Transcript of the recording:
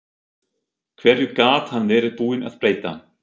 Hverju gat hann verið búinn að breyta?